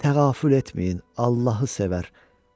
Təğafül etməyin, Allahı sevər.